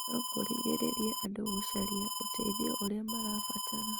no kũrigĩrĩrie andũ gũcaria ũteithio ũrĩa marabatara.